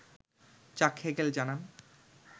চাক হেগেল জানান